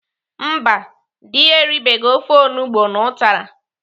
Mba, dị ya eribeghi ofe onugbo na ụtara.